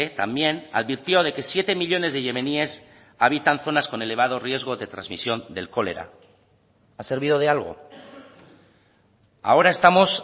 también advirtió de que siete millónes de yemeníes habitan zonas con elevado riesgo de transmisión del cólera ha servido de algo ahora estamos